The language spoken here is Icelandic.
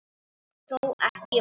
Þó ekki væri.